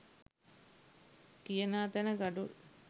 කියනා තැන ගඩොල්